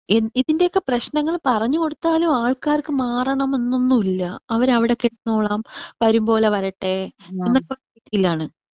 ഈ ഇതിന്റെയൊക്കെ പ്രേശ്നങ്ങൾ പറഞ്ഞ് കൊടുത്താലും ആൾകാർക്ക് മാറണം എന്നൊന്നും ഇല്ല. അവര് അവിടെ കിടന്നോളാം വരും പോലെ വരട്ടെ എന്നൊക്കെയുള്ള രീതീലാണ്.